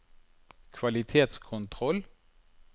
kvalitetskontroll